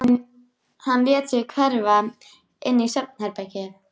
Hann lét sig hverfa inn í svefnherbergi.